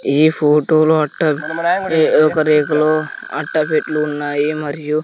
ఈ ఫోటోలో అట్ట ఏ ఒక రేకులు అట్ట పెట్లు ఉన్నాయి మరియు--